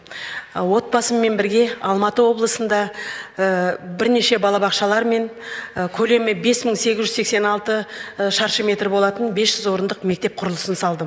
отбасыммен бірге алматы облысында бірнеше балабақшалар мен көлемі бес мың сегіз жүз сексен алты шаршы метр болатын бес жүз орындық мектеп құрылысын салдым